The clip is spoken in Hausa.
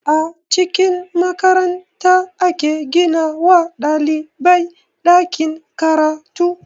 A cikin makaranta ake gina wa ɗalibai ɗakin karatu